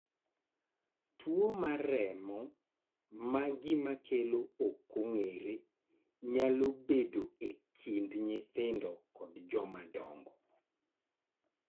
Tuo remo ma gima kelo ok ong'ere nyalo bedo e kind nyithindo kod jomadongo.